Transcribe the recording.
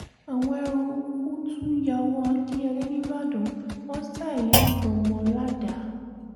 àwọn eruùkù tún yà wọ akinyele nìbàdàn wọn ṣa ìyá àtọmọ ládàá